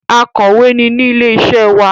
Akọ̀wé ni ní ilé iṣẹ́ wa.